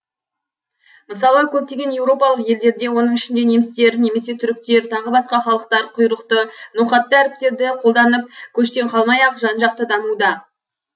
мысалы көптеген еуропалық елдерде оның ішінде немістер немесе түріктер тағы басқа халықтар құйрықты ноқатты әріптерді қолданып көштен қалмай ақ жан жақты дамуда